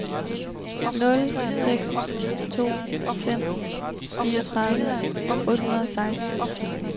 nul seks to fem fireogtredive otte hundrede og seksten